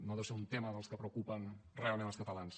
no deu ser un tema dels que preocupen realment als catalans